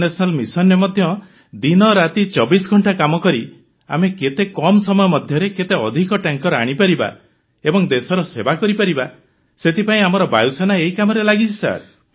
international ମିସନରେ ମଧ୍ୟ ଦିନରାତି 24 ଘଣ୍ଟା କାମ କରି ଆମେ କେତେ କମ ସମୟ ମଧ୍ୟରେ କେତେ ଅଧିକ ଟ୍ୟାଙ୍କର ଆଣିପାରିବା ଏବଂ ଦେଶର ସେବା କରିପାରିବା ସେଥିପାଇଁ ଆମର ବାୟୁସେନା ଏହି କାମରେ ଲାଗିଛି